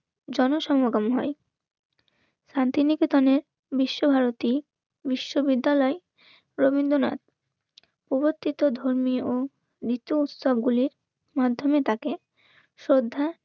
জনসমাগম হয়. শান্তিনিকেতনের বিশ্বভারতী বিশ্ববিদ্যালয় রবীন্দ্রনাথ উপস্থিত ধর্মীয় ও নিত্য উৎসবগুলির মাধ্যমে তাকে শ্রদ্ধা